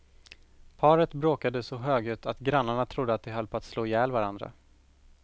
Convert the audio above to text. Paret bråkade så högljutt att grannarna trodde att de höll på att slå ihjäl varandra.